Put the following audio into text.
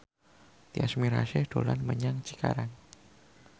Tyas Mirasih dolan menyang Cikarang